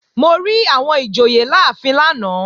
Mo rí àwọn ìjòyè láàfin lánàá